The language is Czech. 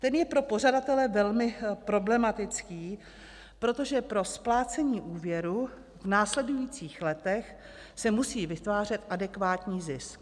Ten je pro pořadatele velmi problematický, protože pro splácení úvěru v následujících letech se musí vytvářet adekvátní zisk.